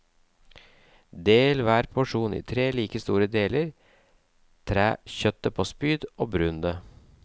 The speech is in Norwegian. Del hver porsjon i tre like store deler, træ kjøttet på spyd og brun det.